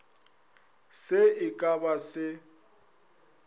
se e ka ba se